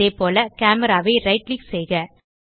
அதேபோல் கேமரா ஐ right click செய்க